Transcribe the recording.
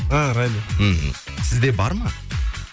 а райдер мхм сізде бар ма